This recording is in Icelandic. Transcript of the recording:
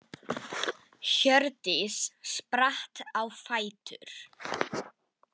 Hjördís spratt á fætur.